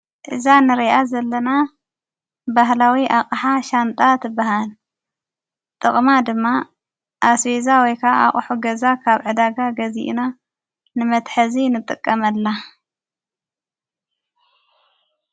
እዛ ንርኣ ዘለና ባህላዊ ኣቕሓ ሻንጣ ትበሃል ጥቕማ ድማ ኣስቤዛ ወይካ ኣቕሑ ገዛ ካብ ዕዳጋ ገዚኡና ንመትሐዚ ንጠቀመላ።